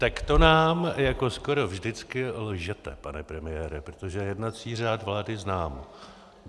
Tak to nám jako skoro vždycky lžete, pane premiére, protože jednací řád vlády znám.